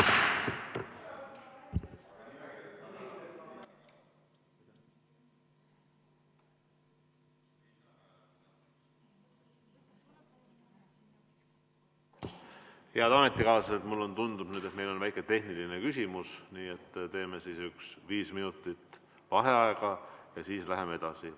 Head ametikaaslased, mulle tundub, et meil on väike tehniline küsimus, nii et teeme viis minutit vaheaega ja siis läheme edasi.